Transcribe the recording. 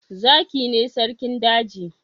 Zaki ne sarkin daji.